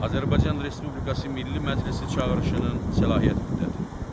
Azərbaycan Respublikası Milli Məclisi çağırışının səlahiyyət müddəti.